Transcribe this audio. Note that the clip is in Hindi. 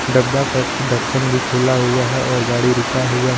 डब्बा का ढक्कन भी खुला हुआ है और गाड़ी रुका हुआ है.